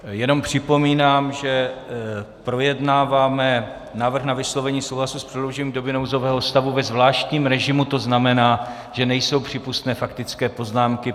Jenom připomínám, že projednáváme návrh na vyslovení souhlasu s prodloužením doby nouzového stavu ve zvláštním režimu, to znamená, že nejsou přípustné faktické poznámky.